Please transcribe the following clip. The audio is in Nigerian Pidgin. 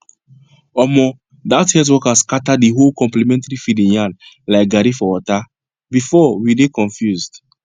omo that health worker scatter the whole complementary feeding yarn like garri for water before we dey confuse